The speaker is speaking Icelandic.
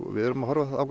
við erum að horfa